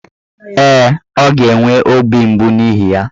Ee, ọ ga-enwe obi mgbu n'ihi ya.